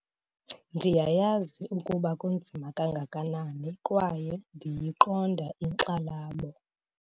Ndiyayazi ukuba kunzima kangakanani kwaye ndiyiqonda inkxalabo